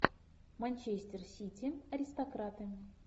манчестер сити аристократы